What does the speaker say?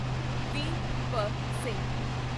VP. Singh